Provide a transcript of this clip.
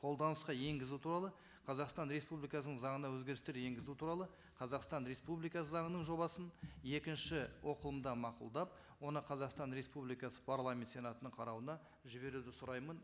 қолданысқа енгізу туралы қазақстан республикасының заңына өзгерістер енгізу туралы қазақстан республикасы заңының жобасын екінші оқылымда мақұлдап оны қазақстан республикасы парламент сенатының қарауына жіберуді сұраймын